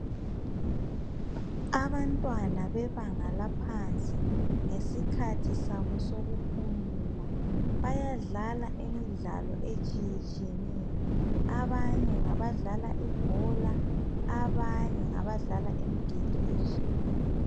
abantwana bebanga laphansi ngesikhathi sabo sokuphumula bayadlala imidlalo etshiyeneyo abanye ngabadlalo ibhola abanye ngabadlala imigido etshiyeneyo